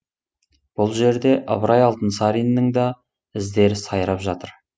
бұл жерде ыбырай алтынсариннің іздері сайрап жатыр